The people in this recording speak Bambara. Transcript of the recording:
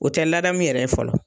o te ladamu yɛrɛ ye fɔlɔ